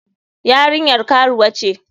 Yarinyar karuwa ce.